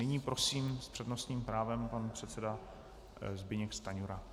Nyní prosím s přednostním právem pan předseda Zbyněk Stanjura.